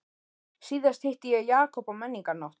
Síðast hitti ég Jakob á menningarnótt.